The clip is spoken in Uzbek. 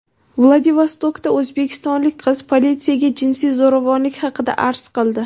Vladivostokda o‘zbekistonlik qiz politsiyaga jinsiy zo‘ravonlik haqida arz qildi.